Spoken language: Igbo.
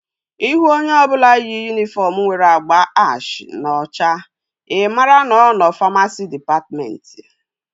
Ịhụ onye ọbụla yi yunifọm nwere agba ash na ọcha i maara na ọ nọ famasi dịpatmentị